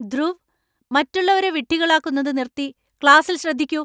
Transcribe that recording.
ധ്രുവ്, മറ്റുള്ളവരെ വിഡ്ഢികളാക്കുന്നത് നിർത്തി ക്ലാസ്സിൽ ശ്രദ്ധിക്കൂ !